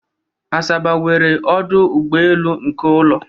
Asaba nwere ọdụ ụgbọelu nke ụlọ